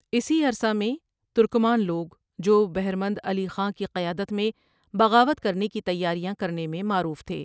اسی عرصہ میں ترکمان لوگ جو بہرمند علی خاں کی قیادت میں بغاوت کرنے کی تیاریاں کرنے میں معروف تھے ۔